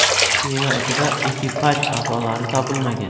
Kema ichida ekipaj a’zolari topilmagan.